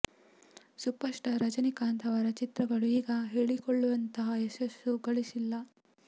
super star Rajinikanth ಅವರ ಚಿತ್ರಗಳು ಈಗ ಹೇಳಿಕೊಳ್ಳುವಂತಹ ಯಶಸ್ಸು ಗಳಿಸಿಲ್ಲ